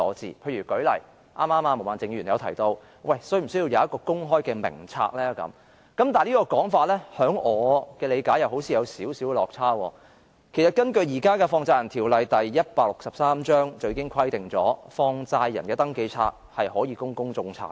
舉例說，剛才毛孟靜議員提到是否需要設立公開的名冊；但根據我的理解，這說法似乎有少許落差，因為現時的香港法例第163章《放債人條例》已規定放債人的登記冊可供公眾查閱。